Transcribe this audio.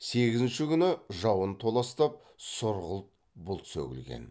сегізінші күні жауын толастап сұрғылт бұлт сөгілген